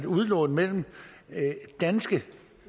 udlån mellem danske